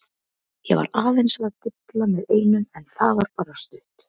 Ég var aðeins að dilla með einum en það var bara stutt.